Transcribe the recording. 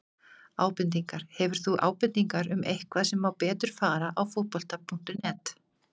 Ábendingar: Hefur þú ábendingar um eitthvað sem má betur fara á Fótbolta.net?